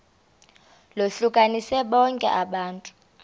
lohlukanise bonke abantu